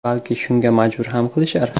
Balki, shunga majbur ham qilishar.